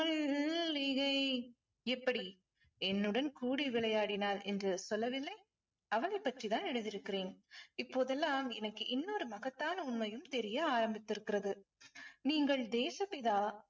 மல்லிகை இப்படி என்னுடன் கூடி விளையாடினாள் என்று சொல்லவில்லை அவளைப் பற்றி தான் எழுதியிருக்கிறேன். இப்போதெல்லாம் எனக்கு இன்னொரு மகத்தான உண்மையும் தெரிய ஆரம்பித்திருக்கிறது. நீங்கள் தேசப்பிதா